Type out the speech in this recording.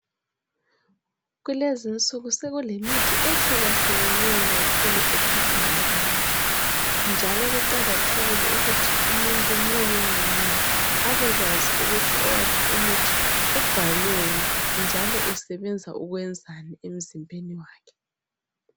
Kulezinsuku sekulemithi ehlukahlukeneyo kakhulu ethathwa ngabantu njalo kuqakathekile ukuthi umuntu munye ngamunye abekwazi ukuthi owakhe umuthi ubhalweni njalo usebenza ukwenzani emzimbeni wakhe.